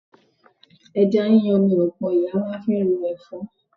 Ẹja yíyan ni ọ̀pọ̀ ìyá máa ń fi ro ẹ̀fọ́